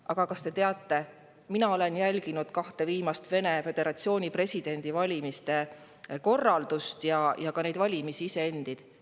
Aga kas te teate, mina olen jälginud kahe viimase Vene föderatsiooni presidendivalimiste korraldust ja ka neid valimisi endid.